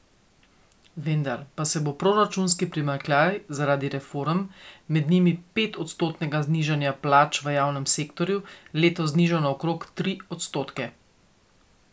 Vendar pa se bo proračunski primanjkljaj zaradi reform, med njimi pet odstotnega znižanja plač v javnem sektorju, letos znižal na okrog tri odstotke.